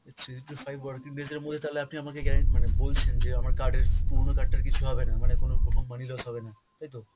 three to five working days এর মধ্যে তালে আপনি আমাকে গ্যা মানে বলছেন যে আমার card এর পুরনো card টার কিছু হবেনা, মানে কোন রকম money loss হবেনা তাইতো?